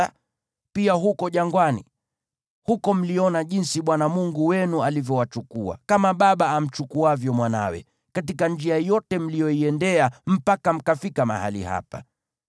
na pia huko jangwani. Huko mliona jinsi Bwana Mungu wenu alivyowachukua, kama baba amchukuavyo mwanawe, katika njia yote mliyoiendea mpaka mkafika mahali hapa.”